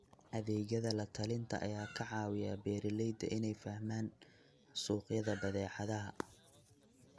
Adeegyada la-talinta ayaa ka caawiya beeralayda inay fahmaan suuqyada badeecadaha.